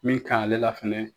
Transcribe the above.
Min ka ɲi ale la fɛnɛ.